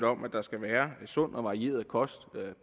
om at der skal være sund og varieret kost